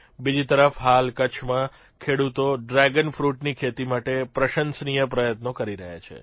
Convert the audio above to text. બીજી તરફ હાલ કચ્છમાં ખેડૂતો ડ્રેગન ફ્રૂટની ખેતી માટે પ્રશંસનીય પ્રયત્નો કરી રહ્યા છે